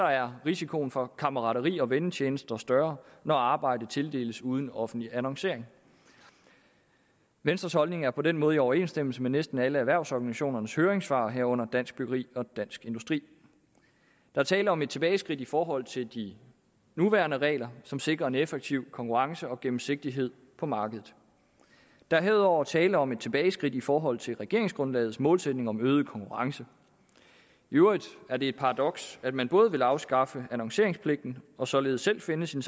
er risikoen for kammerateri og vennetjenester større når arbejdet tildeles uden offentlig annoncering venstres holdning er på den måde i overensstemmelse med næsten alle erhvervsorganisationernes høringssvar herunder dansk byggeri og dansk industri der er tale om et tilbageskridt i forhold til de nuværende regler som sikrer en effektiv konkurrence og gennemsigtighed på markedet der er herudover tale om et tilbageskridt i forhold til regeringsgrundlagets målsætning om øget konkurrence i øvrigt er det et paradoks at man vil afskaffe annonceringspligten og således selv finde sine